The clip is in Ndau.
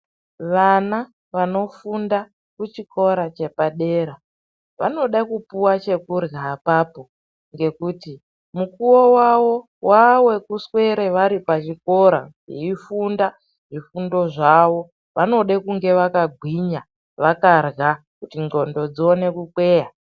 Wana wanofunda kuchikora chepadera vanoda kupuwa chekurya apapo ngekuti mukuwo wawo wawekuswere vari pachikora veifunda zvifundo zvao vanode kunge vaka gwinya vakarya kuti ndxondo dzione kukweya.